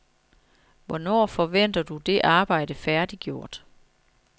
Hvornår forventer du det arbejde færdiggjort?